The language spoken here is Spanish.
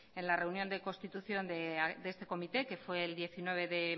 en la reunión de constitución de este comité que fue el diecinueve de